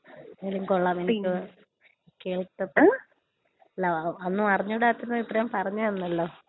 അല്ലാ ഒന്നും അറിഞ്ഞൂടാത്തോണ്ട് ഇത്രയും പറഞ്ഞ് തന്നല്ലോ.